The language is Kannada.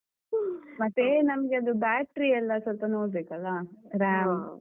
ಮತ್ತೆ ನಮ್ಗೆ ಅದು battery ಎಲ್ಲಾ ಸೊಲ್ಪ ನೋಡ್ಬೇಕಲ್ಲ.